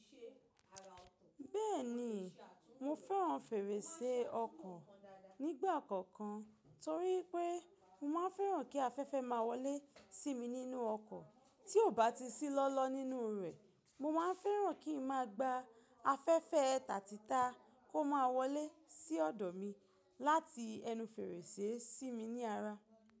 Bẹ́ẹ̀ni, mo fẹ́ràn fèrèsé ọkọ̀ nígbà kọ̀ọ̀kan torí pé mo má ń fẹ́ràn kí afẹ́fẹ́ má wọlé sí mi nínú ọkọ̀ tí ò bá ti sí lọ́lọ́ nínú rẹ̀. Mo máa ń fẹ́ràn kí ń máa gba afẹ́fẹ́ taàtita kó máa wọlé sí ọ̀dọ̀ mi láti ẹnu fèrèsé sí mi ní ara.